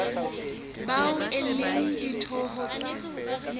bao e leng ditho tsa